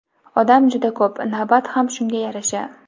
Odam juda ko‘p, navbat ham shunga yarasha.